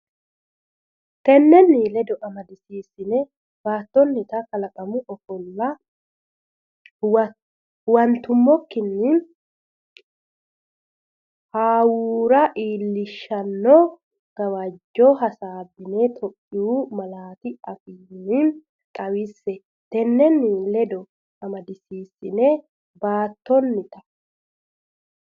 Tennenni ledo amadisiisatenni baattonnita kalaqamu ofolla huwan- tummokkinni hawuura iillishshanno gawajjo hasaabbine Itophiyu malaa- afiinni xawisse Tennenni ledo amadisiisatenni baattonnita.